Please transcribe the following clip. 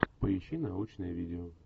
поищи научное видео